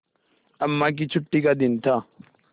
अम्मा की छुट्टी का दिन था